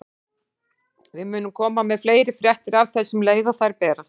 Við munum koma með fleiri fréttir af þessu um leið og þær berast.